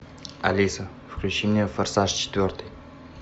алиса включи мне форсаж четвертый